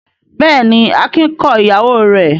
Bẹ́ẹ̀ ni, Akin kọ ìyàwó rẹ̀.